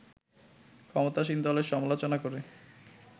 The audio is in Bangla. ক্ষমতাসীন দলের সমালোচনা করে